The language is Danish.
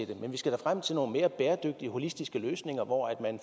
det men vi skal da frem til nogle mere bæredygtige holistiske løsninger hvor man